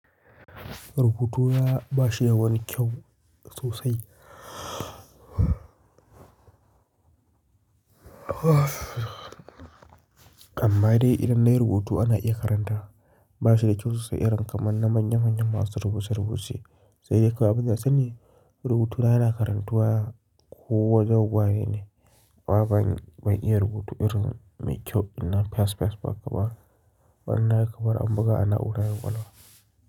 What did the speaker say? Ruhutu na ba shi da wani kyau sosai haaa m amma dai idan nayi rubutu ana iya karanta. Ba shi da kyau sosai irin kamar na manya manyan masu rubuce rubuce. Sai dai kawai abun da na sani rubutu na yana karantuwa ko wajen wane ne. Wa ban iya rubutu irin mai kyau ɗin nan fas fas ba kaba. Ban na ya kabari an buga ana ora yawanwa.